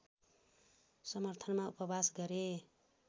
समर्थनमा उपवास गरे